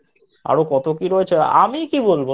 আরো কত কী রয়েছে আমি কী বলব I